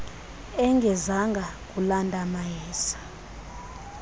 engezanga kulanda mayeza